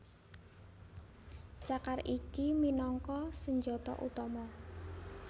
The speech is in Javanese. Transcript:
Cakar iki minangka senjata utama